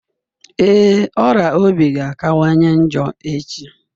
Ee, ọrịa obi ga-akawanye njọ echi